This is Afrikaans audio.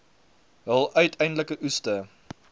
hul uiteindelike oeste